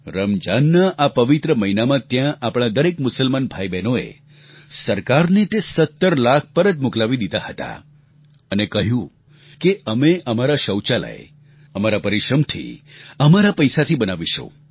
રમજાનના આ પવિત્ર મહિનામાં ત્યાં આપણા દરેક મુસલમાન ભાઈઓબહેનોએ સરકારને તે 17 લાખ પરત મોકલાવી દીધા અને કહ્યું કે અમે અમારા શૌચાલય અમારા પરિશ્રમથી અમારા પૈસાથી બનાવીશું